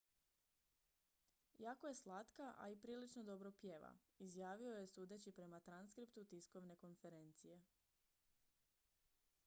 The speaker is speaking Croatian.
jako je slatka a i prilično dobro pjeva izjavio je sudeći prema transkriptu tiskovne konferencije